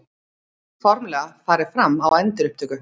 Formlega farið fram á endurupptöku